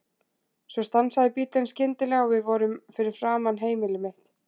Svo stansaði bíllinn skyndilega og við vorum fyrir framan heimili mitt.